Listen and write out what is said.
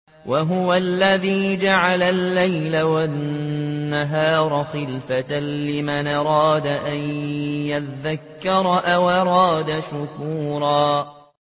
وَهُوَ الَّذِي جَعَلَ اللَّيْلَ وَالنَّهَارَ خِلْفَةً لِّمَنْ أَرَادَ أَن يَذَّكَّرَ أَوْ أَرَادَ شُكُورًا